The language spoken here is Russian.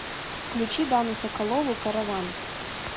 включи дану соколову караван